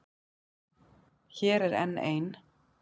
Hér er enn ein.